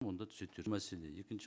онда мәселе екінші